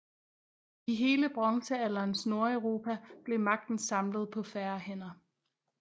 I hele bronzealderens Nordeuropa blev magten samlet på færre hænder